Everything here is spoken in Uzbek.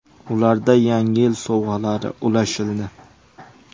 Ularga yangi yil sovg‘alari ulashildi.